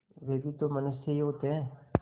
वे भी तो मनुष्य ही होते हैं